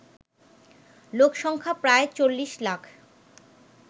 লোকসংখ্যা প্রায় ৪০ লাখ